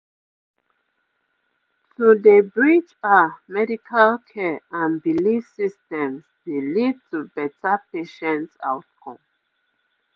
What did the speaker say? pause - to dey bridge ah medical care and belief systems dey lead to better patient outcomes